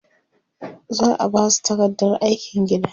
za'a Basu takardar aikin gida